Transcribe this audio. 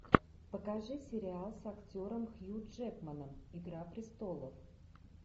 покажи сериал с актером хью джекманом игра престолов